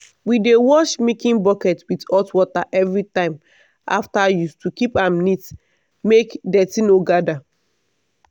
we dey wash milking bucket with hot water every time after use to keep am neat make dirty no gather.